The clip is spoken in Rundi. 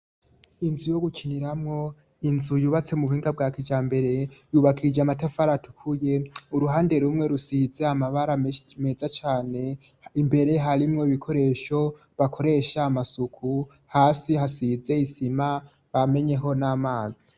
Inzu yo gukiniramwo, inzu yubatse mu buhinga bwa kijambere yubakije amatafari atukuye, uruhande rumwe rusize amabara meza cane. Imbere harimwo ibikoresho bakoresha amasuku. Hasi hasize isima bamenyeho n'amazi.